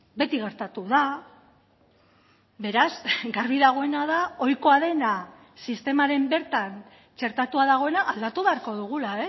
beti gertatu da beraz garbi dagoena da ohikoa dena sistemaren bertan txertatua dagoena aldatu beharko dugula